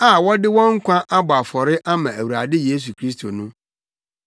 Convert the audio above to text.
a wɔde wɔn nkwa abɔ afɔre ama Awurade Yesu Kristo no.